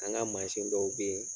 An ka mansin dɔw bɛ yen